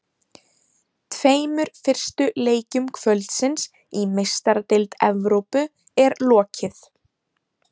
Tveimur fyrstu leikjum kvöldsins í Meistaradeild Evrópu er lokið.